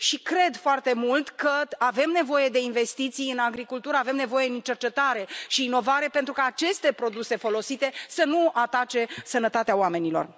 Cred foarte mult că avem nevoie de investiții în agricultură, avem nevoie în cercetare și inovare pentru ca aceste produse folosite să nu atace sănătatea oamenilor.